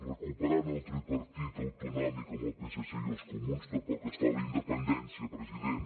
recuperant el tripartit autonòmic amb el psc i els comuns tampoc es fa la independència president